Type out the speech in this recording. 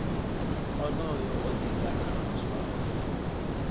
onoyo o ḓi ganama zwawe